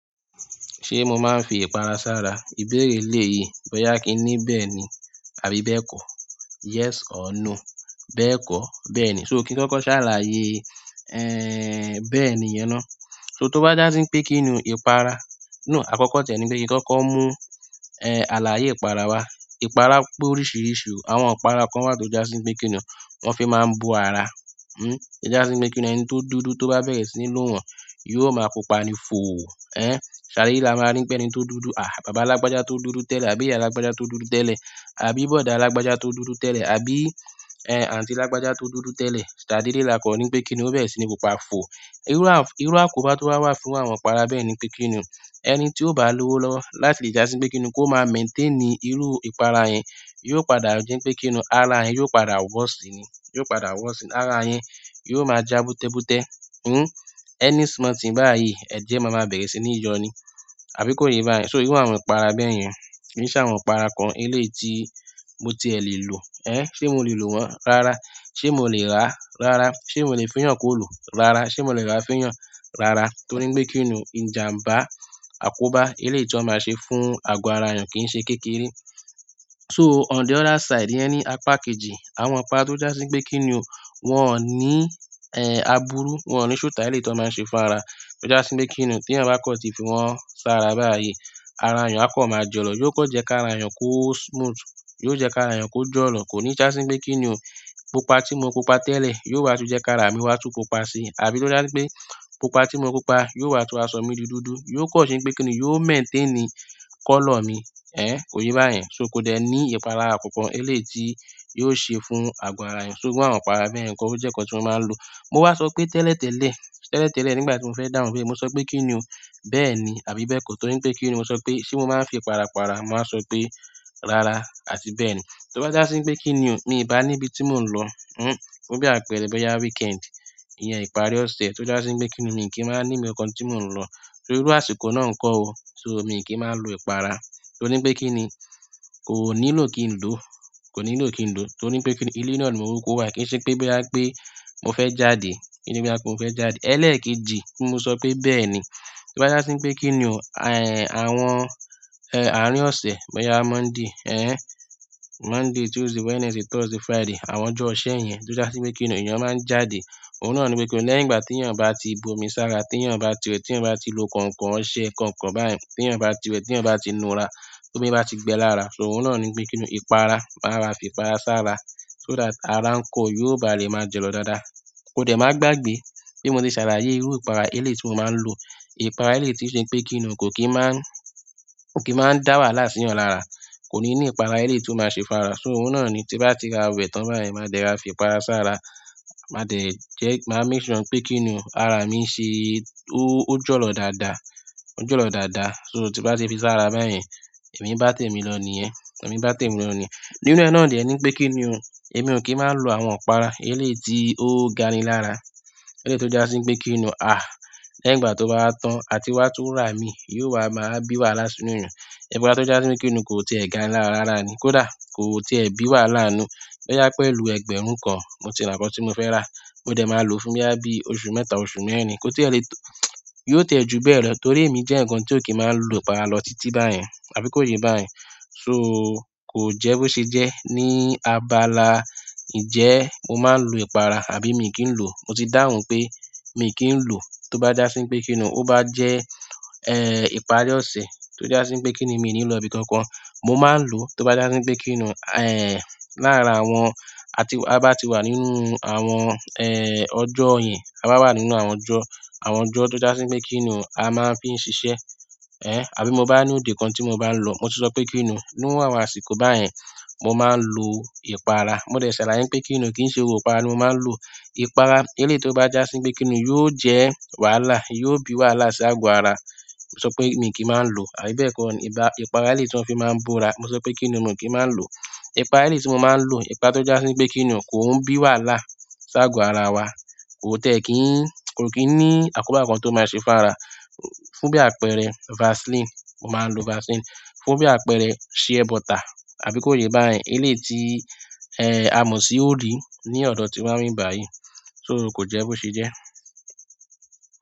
Ṣé mo máa ń fi ìpara sára? Ìbéèrè eléyìí bọ́yá kí n ní bẹ́ẹ̀ni àbí bẹ́ẹ̀kọ́? Yes or no? Bẹ́ẹ̀kọ́, bẹ́ẹ̀ni so, kí n kọ́kọ́ ṣàlàyé bẹ́ẹ̀ni yẹn ná. So, tó bá jásí pé kí n nu ìpara, no àkọ́kọ́ tiẹ̀ ni pé kí n kọ́kọ́ mú, ẹ, àlàyé ìpara wá. Ìpara pé oríṣiríṣi o, àwọn ìpara kán wà tó jásí pé kí ni o wọ́n fi máa ń bó ara. Hmm, ó jásí pé kí n ni ẹni tó dúdú tó bá bẹ̀rẹ̀ sí ní lò wọ́n yóò ma pupa ni fò ò ẹ́n, ṣàdédé la máa ri pé ẹni tó dúdú, à, bàbá lágbájá tó dúdú tẹ́lẹ̀ àbí ìyá lágbájá tó dúdú tẹ́lẹ̀, àbí bọ̀dá lágbájá tó dúdú tẹ́lẹ̀, àbí, ẹn, àǹtí lágbájá tó dúdú tẹ́lẹ̀, ṣàdédé la kàn ri pé kí n ni, ó bẹ̀rẹ̀ sí ní pupa fò ò. Irú, irú àkóbá tó wá wà fún àwọn ìpara bẹ́ẹ̀ni pé kí n ni o ẹni tí ò bá lówó lọ́wọ́ láti lè já sí pé kí n ni kó máa maintain irú ìpara yẹn, yóò padà di pé kí n ni ara yẹn yóò padà worst ni, yóò padà worst ni, ara yẹn yóò máa já bútẹ́bútẹ́. Hmm, any small thing báyìí ẹ̀jẹ̀ ma ma bẹ̀rẹ̀ sí ní yọ ni, àbí kò yé yín báyẹn. So irú àwọn ìpara bẹ́ẹ̀ yẹn, kìí ṣàwọn ìpara kan eléyìí tí mo ti ẹ̀ lè lò, ẹ́, ṣé mo lè lò wọ́n? Rárá. Ṣé mo lè rà á? Rárá. Ṣé mo lè fún èèyàn kó lò? Rárá. Ṣé mo lè rà á fún èèyàn? Rárá. Torí pé kí n ni ìjàǹbá, àkóbá, eléyìí tí wọ́n máa ṣe fún àgọ́ ara èèyàn kì í ṣe kékeré. So on the other side, ìyẹn ní apá kejì, àwọn ìpara tó jásí pé kí n ni o, wọn ò ní, ẹ̀, àbúrú, wọn ò ní sùtá eléyìí tí wọ́n ma ń ṣe fún ara. Ójá sí pé kín ni o, tí èèyàn bá kàn ti fi wọ́n sára báyìí ara èèyàn á kàn ma jọ̀lọ̀, yóò kàn jẹ́ kí ara èèyàn kó smooth, yóò jẹ́ kára èèyàn kó jọ̀lọ̀. Kò ní jásí pé kí n ni o pupa tí mo pupa tẹ́lẹ̀ yóò wá tún jẹ́ ká ra mí wá tún pupa síi. Àbí kó já sí pé pupa tí mo pupa yóò wá tún wá sọ mí di dúdú, yóò kàn ṣe pé kí n ni yóò maintain colour mi. Ẹ̀n, kò yé bá yẹn. So, kò dẹ̀ ní ìpalára kankan eléyìí tí yóò ṣe fún àgọ́ ara èèyàn. So irú àwọn ìpara bẹ́ẹ̀ yẹn ń kọ́, ó jẹ́ nǹkan tí mo máa ń lò. Mo wá sọ pé tẹ́lẹ̀tẹ́lẹ̀, tẹ́lẹ̀tẹ́lẹ̀ nígbà tí mo fẹ́ dáhùn ìbéèrè mo sọ pé kí n ni o bẹ́ẹ̀ni àbí bẹ́ẹ̀kọ́ torí pé kí n ni mo sọ pé ṣé mo máa ń fi ìpara para, mo máa sọ pé rárá àti bẹ́ẹ̀ni. Tó bá jásí pé kí n ni o mi ò bá níbi tí mò ń lọ, hmm, fún bí àpẹẹrẹ bóyá weekend, ìyẹn ìparí ọ̀sẹ̀ tó jásí pé kí n ni mi ò kí ń ma ń ní ibì kankan tí mò ń lọ. So irú àsìkò náà ńkọ́ o. So miì kí ń ma ń lo ìpara torí pé kí n ni kò nílò kí n lòó, kò nílò kí n lòó torí pé kí n ni ilé náà ni mo kúkú wà kì í ṣe pé bóyá pé mo fẹ́ jáde, kì í se pé bóyá pé mo fẹ́ jáde. Ẹlẹ́ẹ̀kejì kí n sọ pé bẹ́ẹ̀ ni. Tó bá jásí pé kí n ni o, ẹ̀n, àwọn, ẹ, àárín ọ̀sẹ̀ bóyá Monday, ẹ́n, Monday, Tuesday, Wednesday, Thursday, Friday àwọn ọjọ́ iṣẹ́ yẹn tó jásí pé kí n ni èèyàn máa ń jáde. Òun náà ni pé kí n ni lẹ́yìn ìgbà téèyàn bá ti bu omi sára, téèyàn bá ti wẹ̀, téèyàn bá ti lo kàn-ǹkàn, ọṣe ǹkan-ǹkàn báyẹn, téèyàn bá ti wẹ̀, téèyàn bá ti nu ra, tómi bá ti gbẹ lára, so òun náà ni pé kí n ni, ìpara, màá rọra fi ìpara sára so that ara ńkọ́ o, yóò ba lè máa jọ̀lọ̀ dáadáa. Ko dẹ̀ má gbàgbé pé mo ti ṣàlàyé irú ìpara eléyìí tí mo ma ń lò. Ìpara eléyìí tí ó ṣe pé kí n ni kò kí máa ń, kò kí máa ń dá wàhálà sí èèyàn lára. Kò ní ní ìpara eléyìí tí ó ma ṣe fún ara. So òun náà ni tí nbá ti rọra wẹ̀ tán báyìí maa dẹ̀ rọra fi ìpara sára. Maa dẹ̀ jẹ́, màá make sure pé kí n ni o ara mí ṣe, ó, ó jọ̀lọ̀ dáadáa, ó jọ̀lọ̀ dáadáa. So tí nbá ti fi sára báyẹn èmi ń bá tèmi lọ nìyẹn, èmi ń bá tèmi lọ nìyẹn. Nínú ẹ̀ náà dẹ̀ ni pé kí n ni o èmi ò kí máa ń lo àwọn ìpara eléyìí tí ó ga ni lára. Eléyìí tó jásí pé kí n ni o, à, lẹ́yìn ìgbà tó bá wá tán àti wá tún rà míì yóò wá ma wá bí wàhálà sí inú èèyàn. Ìpara tó jásí pé kí n ni kò tiẹ̀ gani lára rárá ni, kó dà, kò tiẹ̀ bí wàhálà ńnú. Bóyá pẹ̀lú ẹgbẹ̀rún kan mo ti ra nǹkan tí mo fẹ́ rà, mo dẹ̀ ma lòó fún bóyá bí i oṣù mẹ́ta, oṣù mẹ́rin. Kò tiẹ̀ lè tó-- yóò tiẹ̀ jù bẹ́ẹ̀ lọ torí èmí jẹ́ nìkan tí ò kí máa ń lo ìpara lọ títí báyẹn àbí kò yé báyẹn. So kò jẹ́ bó ṣe jẹ́ ní abala ìjẹ́ mo máa ń lo ìpara àbí mi kì í lòó. Mo ti dáhùn pé mi ò kí ń lòó tó bá jásí pé kí n ni o ó bá jẹ́, ẹ̀, ìparí ọ̀sẹ̀ tó jásí pé kí n ni mi ò ní lọ ibì kankan. Mo máa ń lòó tó bá jásí pé kí n ni, ẹ̀, láàárín àwọn, àti a bá ti wà nínú àwọn, ẹ̀, ọjọ́ yìí a bá wà nínú àwọn ọjọ́, àwọn ọjọ́ tó jásí pé kí n ni a máa ń fi ń ṣiṣẹ́. Ẹ̀n, àbí mo bá ní òde kan tí mo bá ń lọ. Mo tún sọ pé kí n ni o nírú àwọn àsìkò báyẹn mo máa ń lo ìpara. Mo dẹ̀ ṣàlàyé pé kí n ni o kì í ṣe gbogbo ìpara ni mo máa ń lò. Ìpara eléyìí tó bá jásí pé kí n ni yóò jẹ́ wàhálà, yóò bí wàhálà sí àgọ́ ara. Mo sọ pé mi ì kí máa ń lòó àbí bẹ́ẹ̀ kọ́ ni ìba ìpara eléyìí tí wọ́n fi máa ń bó ra. Mo sọ pé kín ni o, mi ò kí má a ń lòó, ìpara eléyìí tí mo ma ń lò ìpara tó jásí pé kín ni o, kò kí máa ń bí wàhálà sí àgọ́ ara wa kò tiẹ̀ kí ń, kò kí ń ní àkóbá kan tó ma ṣe fún ara. Fún bí àpẹẹrẹ Vaseline, mo máa ń lo Vaseline. Fún bí àpẹẹrẹ shea butter àbí kò yé báyẹn eléyìí tí, ẹ, amọ̀ sí òrí ní ọ̀dọ̀ ti wa ń bí báyìí. So kò jẹ́ bó ṣe jẹ́.